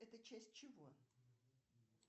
это часть чего